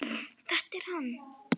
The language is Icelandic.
Þetta er hann.